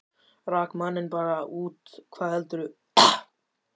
Rak manninn bara út, hvað heldurðu!